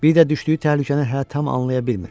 Bir də düşdüyü təhlükəni hələ tam anlaya bilmir.